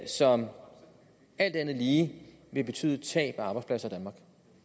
som alt andet lige vil betyde tab af arbejdspladser i danmark